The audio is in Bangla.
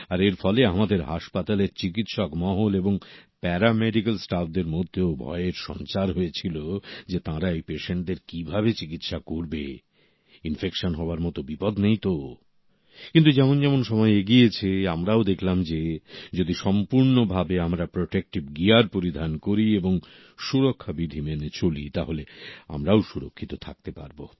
আর এর ফলে আমাদের হাসপাতালের চিকিৎসক মহল এবং প্যারা মেডিকেল স্টাফদের মধ্যেও ভয়ের সঞ্চার হয়েছিল যে তাঁরা এই পেশেন্টদের কিভাবে চিকিৎসা করবে ইনফেকশন হওয়ার মত বিপদ নেই তো কিন্তু যেমন যেমন সময় এগিয়েছে আমরাও দেখলাম যে যদি সম্পূর্ণভাবে আমরা প্রটেক্টিভ গিয়ার পরিধান করি এবং সুরক্ষা বিধি মেনে চলি তাহলে আমরাও সুরক্ষিত থাকতে পারবো